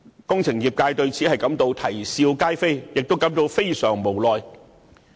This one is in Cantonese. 工程業界對此感到啼笑皆非，亦感到非常無奈。